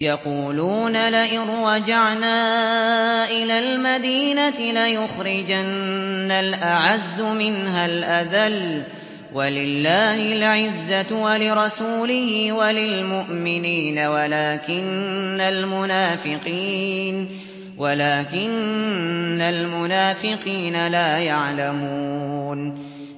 يَقُولُونَ لَئِن رَّجَعْنَا إِلَى الْمَدِينَةِ لَيُخْرِجَنَّ الْأَعَزُّ مِنْهَا الْأَذَلَّ ۚ وَلِلَّهِ الْعِزَّةُ وَلِرَسُولِهِ وَلِلْمُؤْمِنِينَ وَلَٰكِنَّ الْمُنَافِقِينَ لَا يَعْلَمُونَ